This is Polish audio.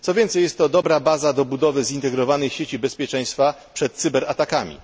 Co więcej, jest to dobra baza do budowy zintegrowanej sieci bezpieczeństwa obrony przed cyberatakami.